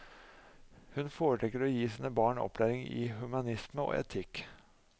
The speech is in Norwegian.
Hun foretrekker å gi sine barn opplæring i humanisme og etikk.